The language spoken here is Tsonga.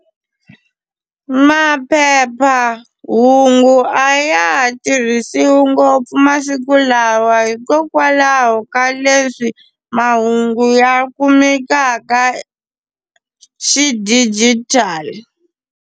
Maphephahungu a ya ha tirhisiwi ngopfu masiku lawa hikokwalaho ka leswi mahungu ya kumekaka xidijitali.